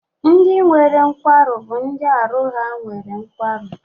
Ndị nwere nkwarụ bụ ndị arụ ha nwere nkwarụ.